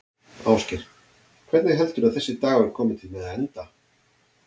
Ásgeir: Hvernig heldurðu að þessi dagur komi til með að enda?